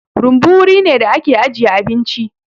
Rumbu wuri ne da ake ajiye abinci.